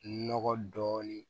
Nɔgɔ dɔɔnin